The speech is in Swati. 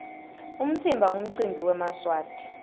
umtsimba nqumcimbi wemaswati